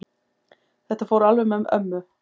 Þetta fór alveg með ömmu.